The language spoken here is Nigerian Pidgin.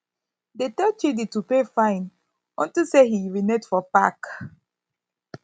dey tell chidi to pay fine unto say he urinate for park